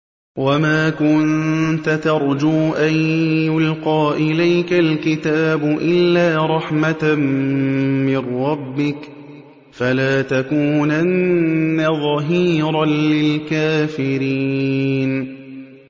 وَمَا كُنتَ تَرْجُو أَن يُلْقَىٰ إِلَيْكَ الْكِتَابُ إِلَّا رَحْمَةً مِّن رَّبِّكَ ۖ فَلَا تَكُونَنَّ ظَهِيرًا لِّلْكَافِرِينَ